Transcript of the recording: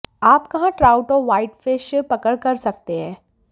आप कहाँ ट्राउट और व्हाइटफिश पकड़ कर सकते हैं